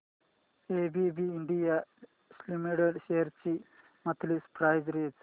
ABB India limited shares ची monthly price range